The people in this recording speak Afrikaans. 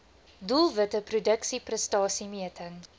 doelwitte produksie prestasiemeting